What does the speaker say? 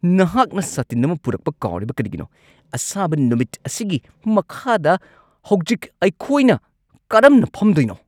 ꯅꯍꯥꯛꯅ ꯁꯥꯇꯤꯟ ꯑꯃ ꯄꯨꯔꯛꯄ ꯀꯥꯎꯔꯤꯕ ꯀꯔꯤꯒꯤꯅꯣ? ꯑꯁꯥꯕ ꯅꯨꯃꯤꯠ ꯑꯁꯤꯒꯤ ꯃꯈꯥꯗ ꯍꯧꯖꯤꯛ ꯑꯩꯈꯣꯏꯅ ꯀꯔꯝꯅ ꯐꯝꯗꯣꯏꯅꯣ?